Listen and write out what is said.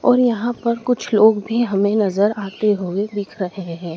और यहां पर कुछ लोग भी हमें नजर आते हुए दिख रहे हैं।